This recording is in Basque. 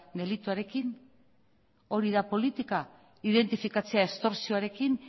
delituarekin hori da politika identifikatzea estorsioarekin